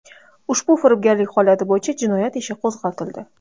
Ushbu firibgarlik holati bo‘yicha jinoyat ishi qo‘zg‘atildi.